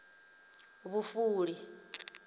vhufuli